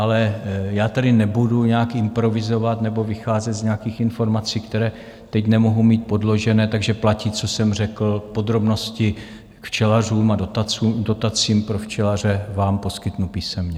Ale já tady nebudu nějak improvizovat nebo vycházet z nějakých informací, které teď nemohu mít podložené, takže platí, co jsem řekl, podrobnosti k včelařům a dotacím pro včelaře vám poskytnu písemně.